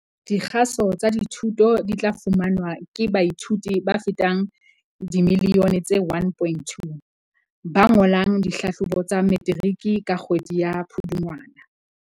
Dikgaso tsa dithuto di tla fumanwa ke baithuti ba fetang dimiliyone tse 1.2 ba ngolang dihlahlobo tsa Metiriki ka kgwedi ya Pudungwana.